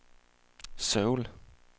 Seoul